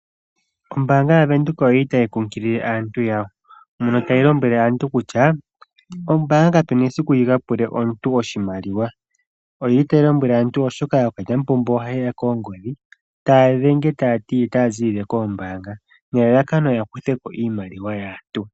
Ombaanga yaVenduka otayi kunkilile aantu yawo, mono tayi lombwele aantu kutya ombaanga kayi na esiku yi ka pule omuntu oshimaliwa. Otayi lombwele aantu, oshoka ookalyamupombo ohaya dhenge aantu oongodhi taye ya lombwele kutya otaya ziilile koombaanga nelalakano ya kuthe ko iimaliwa yaantu.